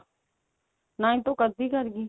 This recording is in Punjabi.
ninth ਤਾਂ ਉਹ ਕਦ ਦੀ ਕਰ ਗਈ